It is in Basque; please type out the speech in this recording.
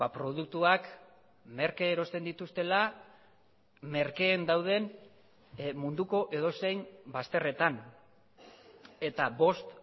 produktuak merke erosten dituztela merkeen dauden munduko edozein bazterretan eta bost